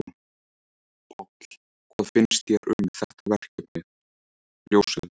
Páll: Hvað finnst þér um þetta verkefni, ljósið?